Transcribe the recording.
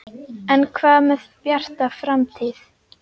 En hvað með Bjarta framtíð?